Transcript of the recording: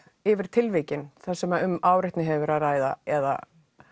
yfir tilvikin þar sem um áreitni hefur verið að ræða eða